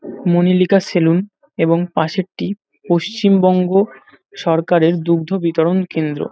মনিলিকা saloon এবং পাশেরটি পশ্চিমবঙ্গ সরকারের দুগ্ধ বিতরন কেন্দ্র।